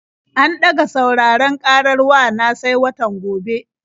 An ɗaga sauraron ƙarar wa na sai watan gobe.